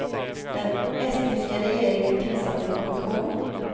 Den estniska regeringen tillsatte en kommission.